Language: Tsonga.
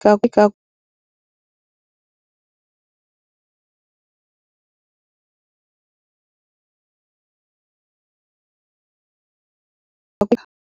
.